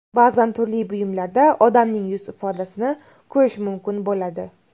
Ba’zan turli buyumlarda odamning yuz ifodasini ko‘rish mumkin bo‘ladi.